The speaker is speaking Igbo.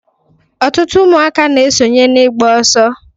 Ọtụtụ ụmụaka na-esonye n'ịgba ọsọ.